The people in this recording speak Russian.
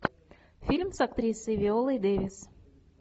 фильм с актрисой виолой дэвис